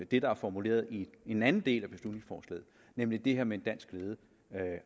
det der er formuleret i en anden del af beslutningsforslaget nemlig det her med en dansk ledet